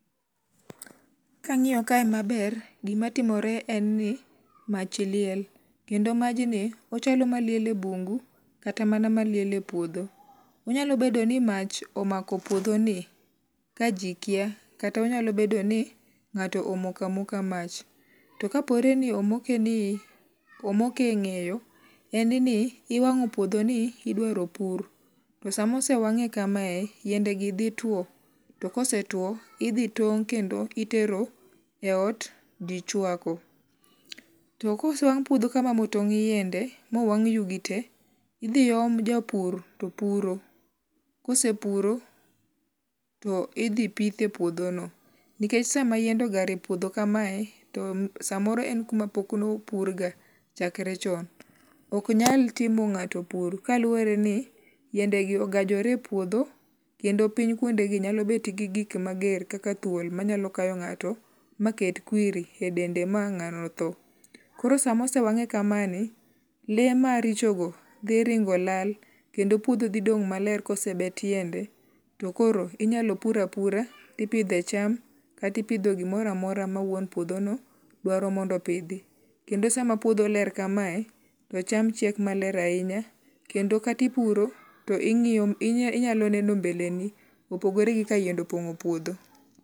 Kang'iyo kae maber gimatimore en ni mach liel. Kendo majni ochalo maliel e bungu kata mana maliel e puodho. Onyalo bedo ni mach omako puodho ni ka ji kia kata onyalo bedo ni ng'ato omoko amoka mach. To kapore ni omoke ni, omoke e ng'eyo, en ni iwang'o puodho ni idwaro pur. To samosewang'e kamae, yiende gi dhi tuo. To kose tuo idhi tong' kendo itero e ot ji chwako. To kosewang' puodho kama motong' yiende mowang' yugi te, idhi om japur topuro. Kose puro, to idhi pithe puodho no. Nikech sama yiende ogar e puodho kamae to samoro en kuma pok no pur ga chakre chon. Ok nyal timo ng'ato puro kaluwore ni yiende gi ogajore e puodho kendo piny kuonde gi nyalobet gi gik mager kaka thuol manyalo kayo ng'ato maket kwiri e dende ma ng'ano tho. Koro samosewang'e kama ni, le maricho go dhi ringo lal. Kendo puodho dhi dong' maler kosebet yiende. To koro inyalo pur apura ipidhe cham katipidho gimoro amora ma wuon puodho no dwaro mondo pidhi. Kendo sama puodho ler kamae, to cham chiek maler ahinya kendo kati puro to ing'iyo inyalo neno mbeleni. Opogore gi ka yiende opong'o puodho.